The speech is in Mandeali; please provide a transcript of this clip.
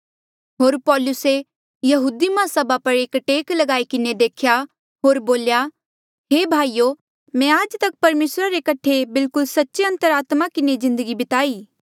होर पौलुसे यहूदी माहसभा पर एक टेक ल्गाई किन्हें देख्या होर बोल्या हे भाईयो मैं आज तक परमेसरा रे कठे बिल्कुल सच्चे अंतरात्मा किन्हें जिन्दगी बिताई